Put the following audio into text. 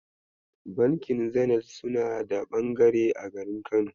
Bankin Zenith suna da ɓangare a garin Kano.